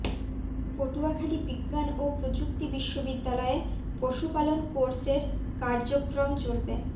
পটুয়াখালী বিজ্ঞান ও প্রযুক্তি বিশ্ববিদ্যালয়ে পশুপালন কোর্সের কার্যক্রম চলবে